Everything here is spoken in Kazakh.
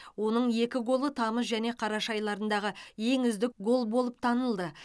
оның екі голы тамыз және қараша айларындағы ең үздік гол болып танылды